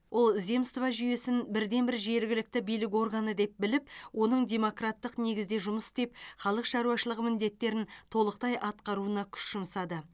ол земство жүйесін бірден бір жергілікті билік органы деп біліп оның демократтық негізде жұмыс істеп халық шаруашылығы міндеттерін толықтай атқаруына күш жұмсады